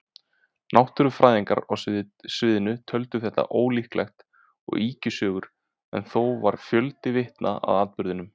Náttúrufræðingar á svæðinu töldu þetta ólíklegt og ýkjusögu, en þó var fjöldi vitna að atburðinum.